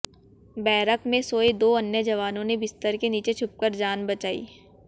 barrack में सोए दो अन्य जवानों ने बिस्तर के नीचे छुपकर जान बचाई